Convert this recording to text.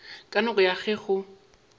ka nako ya ge go